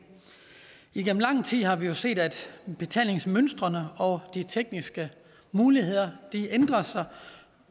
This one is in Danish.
igennem lang tid har vi jo set at betalingsmønstrene og de tekniske muligheder ændrer sig